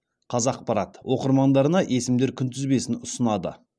қазақпарат оқырмандарына есімдер күнтізбесін ұсынады